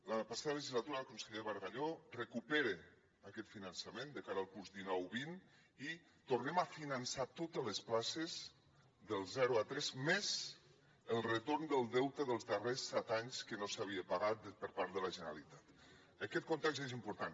la passada legislatura el conseller bargalló recupera aquest finançament de cara al curs dinou vint i tornem a finançar totes les places del zero a tres més el retorn del deute dels darrers set anys que no s’havia pagat per part de la generalitat aquest context és important